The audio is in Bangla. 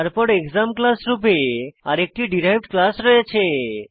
তারপর এক্সাম ক্লাস রূপে আরেকটি ডিরাইভড ক্লাস রয়েছে